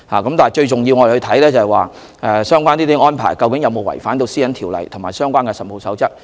然而，最重要的是，相關的安排究竟有否違反《條例》及《實務守則》。